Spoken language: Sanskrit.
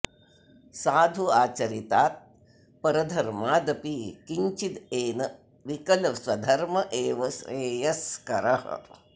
साधु आचरितात् परधर्मादपि किञ्चिदेन विकलः स्वधर्मः एव श्रेयस्करः